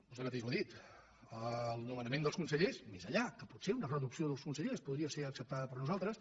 vostè mateix ho ha dit el nomenament dels consellers més enllà que potser una reducció dels consellers po·dria ser acceptada per nosaltres